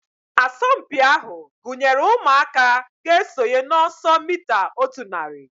Asọmpi ahu gụnyere ụmụaka ga-esonye na ọsọ mita otu narị